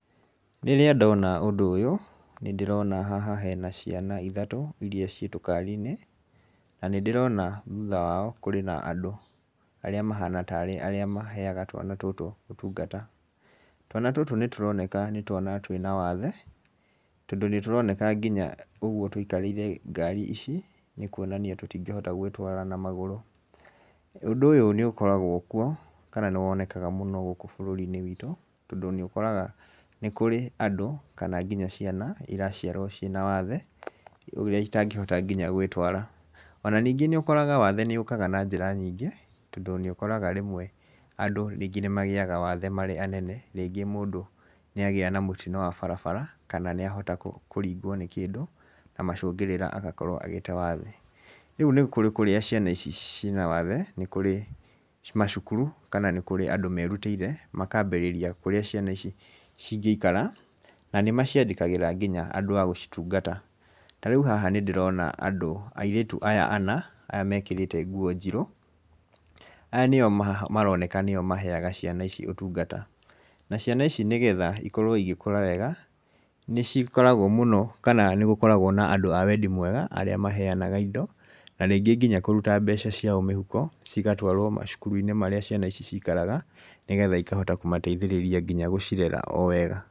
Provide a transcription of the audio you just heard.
Rĩrĩa ndona ũndũ ũyũ, nĩ ndĩrona haha hena ciana ithatũ, iria ciĩ tũkari-inĩ na nĩ ndĩrona thutha wao kũri na andũ arĩa mahana ta maheaga twana tũtũ ũtungata. Twana tũtũ nĩ tũroneka nĩ twana twĩna wathe tondũ nĩ tũroneka nginya ũguo tũikarĩire ngari ici nĩ kuonania tũtingĩhota gwĩtwara na magũrũ. Ũndũ ũyũ nĩ ũkoragwo kuo kana nĩ wonekaga mũno gũkũ bũrũri-inĩ witũ, tondũ nĩ ũkoraga nĩ kũrĩ andũ kana nginya ciana iraciarwo ciĩna wathe ũrĩa itangĩhota nginya gwĩtwara. Ona ningĩ nĩ ũkoraga wathe nĩ ũkaga na njĩra nyingĩ, tondũ nĩ ũkoraga rĩmwe andũ nĩ magĩaga wathe marĩ anene, rĩngĩ mũndũ nĩ agĩa na mũtino wa barabara, kana nĩ ahota kũringwo nĩ kĩndũ, na macũngĩrĩra agakorwo agĩte wathe. Rĩu nĩ kũrĩ kũrĩa ciana ici cina wathe, nĩ kũrĩ macukuru kana kũrĩa nĩ kũrĩ andũ merutĩire makaambĩrĩria kurĩa ciana ici cingĩikara, na nĩ maciandĩkagĩra nginya andũ a gũcitungata. Ta rĩu haha nĩ ndĩrona andũ, airĩtu aya ana aya mekĩrĩte nguo njirũ, aya nĩo maroneka nĩo maheaga ciana ici ũtungata. Na ciana ici nĩgetha ikorwo igĩkũra wega, nĩ cikoragwo mũno kana nĩ gũkoragwo na andũ a wendi mwega, arĩa maheanaga indo na rĩngĩ nginya kũruta mbeca ciao mĩhuko, cigatwarwo macukuru-inĩ marĩa ciana ici cikaraga, nĩgetha ikahota kũmateithĩrĩria ngina gũcirera o wega.